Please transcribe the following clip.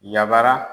Yabara